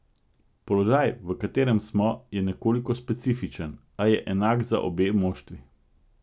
Položaj, v katerem smo, je nekoliko specifičen, a je enak za obe moštvi.